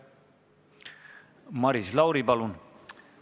Maris Lauri, palun!